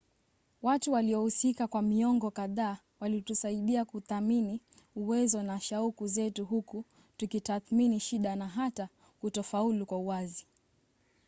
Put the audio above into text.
watu waliohusika kwa miongo kadhaa walitusaidia kuthamini uwezo na shauku zetu huku tukitathmini shida na hata kutofaulu kwa uwazi